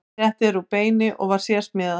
Settið er úr beini og var sérsmíðað.